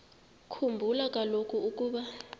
khumbula kaloku ukuba